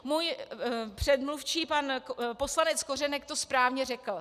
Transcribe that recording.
Můj předmluvčí pan poslanec Kořenek to správně řekl.